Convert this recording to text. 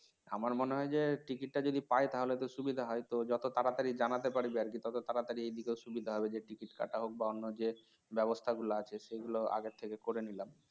আমার মনে হয় যে ticket টা যদি পায় তাহলে তো সুবিধা হয় তো যত তাড়াতাড়ি জানাতে পারবি আরকি তত তাড়াতাড়ি এদিকেও সুবিধা হবে যে ticket কাটা হোক বা অন্য যে ব্যবস্থা গুলো আছে সেগুলো আগে থেকে করে নিলাম